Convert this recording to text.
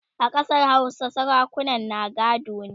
a Ƙasar Hausa sarakunan na gado ne